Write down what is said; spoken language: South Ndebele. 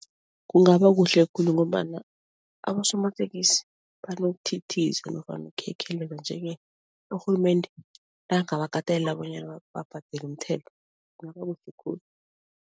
Kungaba kuhle khulu ngombana abosomatekisi banokuthithiza nofana ukukhekheleza nje-ke urhulumende nakangabakatelela bonyana babhadele umthelo kungaba kuhle khulu.